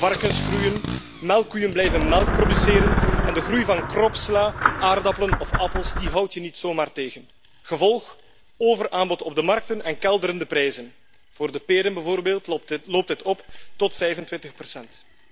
Varkens groeien, melkkoeien blijven melk produceren en de groei van kropsla, aardappelen of appels houd je niet zomaar tegen. Gevolg overaanbod op de markten en kelderende prijzen. Voor de peren, bijvoorbeeld, loopt dit op tot 25 procent.